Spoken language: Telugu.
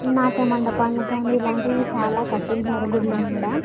నాట్య మండపాన్నిగాని ఇలాంటివి చాలా కట్టించారు గుడిలు కూడా.